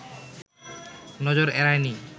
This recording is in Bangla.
নজর এড়ায় নি